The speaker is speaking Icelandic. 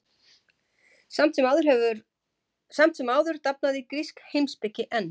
Samt sem áður dafnaði grísk heimspeki enn.